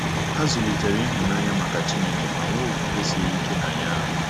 Ha zụlitere ịhụnanya maka Chineke ma nwee okwukwe siri ike na ya.